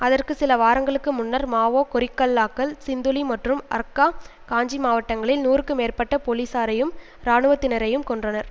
அதற்கு சில வாரங்களுக்கு முன்னர் மாவோ கொரில்லாக்கள் சிந்துளி மற்றும் அர்கா காஞ்சி மாவட்டங்களில் நூறுக்கு மேற்பட்ட பொலிசாரையும் இராணுவத்தினரையும் கொன்றனர்